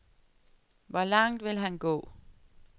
Hvor langt vil han gå?